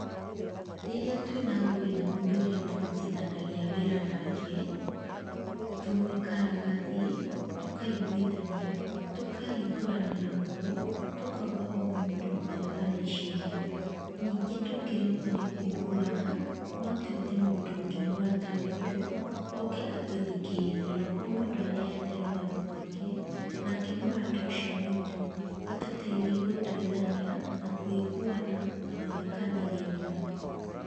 Rĩrĩa twĩna ngũĩ na mũndũ ũrĩa tũrutithanagia wĩra nake, tũikaraga thĩ tũkaiguithania, tũkahingũranĩra ngoro, tũkauga o mũndũ ũrĩa areciria, ningĩ tũngĩremwo nĩ kũiguana, no tũĩte mũndũ ũngĩ mũrata witũ oke atũthikĩrĩrie, o mũndũ aheane rũgano rwake, nake mũrata ũcio witũ atũteithie gũtuithania, na kũiguana na gũthikanĩrĩria.